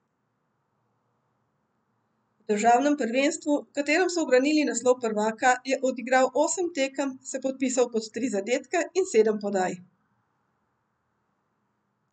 V državnem prvenstvu, v katerem so ubranili naslov prvaka, je odigral osem tekem, se podpisal pod tri zadetke in sedem podaj.